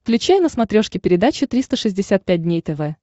включай на смотрешке передачу триста шестьдесят пять дней тв